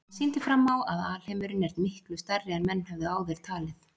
Hann sýndi fram á að alheimurinn er miklu stærri en menn höfðu áður talið.